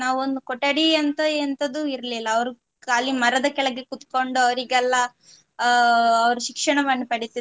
ಒಂದು ಕೊಠಡಿ ಅಂತ ಎಂತದು ಇರ್ಲಿಲ್ಲ, ಅವ್ರು ಕಾಲಿ ಮರದ ಕೆಳಗೆ ಕೂತ್ಕೊಂಡು ಅವರಿಗೆಲ್ಲ ಅಹ್ ಅವರು ಶಿಕ್ಷಣವನ್ನು ಪಡಿತಿದ್ರು